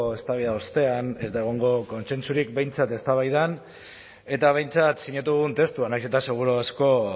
eztabaida ostean ez da egongo kontsentsurik behintzat eztabaidan eta behintzat sinatu dugun testuan nahiz eta seguru asko